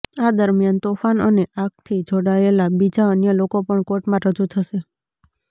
આ દરમિયાન તોફાન અને આગથી જોડાયેલા બીજા અન્ય લોકો પણ કોર્ટમાં રજૂ થશે